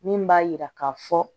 Min b'a yira ka fɔ